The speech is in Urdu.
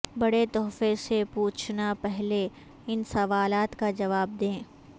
بڑے تحفے سے پوچھنا پہلے ان سوالات کا جواب دیں